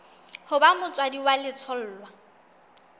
ho ba motswadi wa letholwa